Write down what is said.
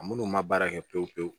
Munnu ma baara kɛ pewu-pewu